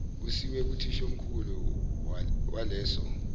isiwe kuthishomkhulu waleso